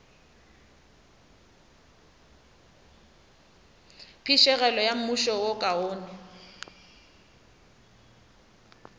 phišegelo ya mmušo wo kaone